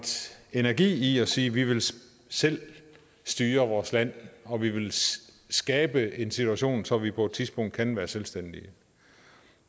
energi i at sige vi vil selv styre vores land og vi vil skabe en situation så vi på et tidspunkt kan være selvstændige